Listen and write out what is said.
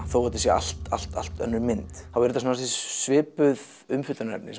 þó þetta sé allt allt allt önnur mynd þá eru þetta svipuð umfjöllunarefni